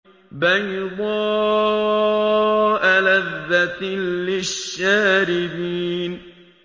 بَيْضَاءَ لَذَّةٍ لِّلشَّارِبِينَ